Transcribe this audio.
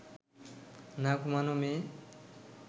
না ঘুমোনো মেয়ে